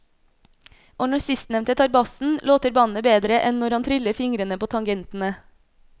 Og når sistnevnte tar bassen, låter bandet bedre enn når han triller fingrene på tangentene.